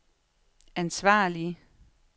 ansvarlige